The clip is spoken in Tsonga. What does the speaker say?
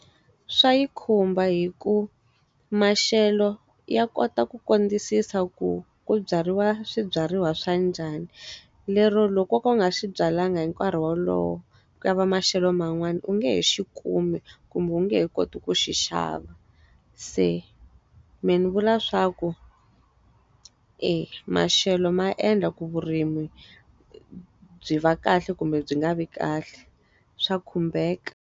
Swa yi khumba hikuva maxelo, ya kota ku kondzisisa ku ku byariwa swibyariwa swa njhani. Lero loko wo ka u nga swi byalanga hi nkarhi wolowo, ku ya va maxelo man'wani, u nge he xi kumi kumbe u nge he koti ku xi xava. Se mehe ni vula swa ku e, maxelo ma endla ku vurimi byi va kahle kumbe byi nga vi kahle. Swa khumbeka.